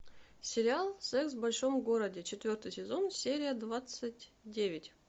сериал секс в большом городе четвертый сезон серия двадцать девять